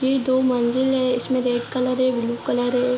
ये दो मंजिल है इसमें रेड कलर है ब्‍लू कलर है।